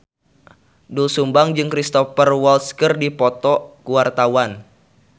Doel Sumbang jeung Cristhoper Waltz keur dipoto ku wartawan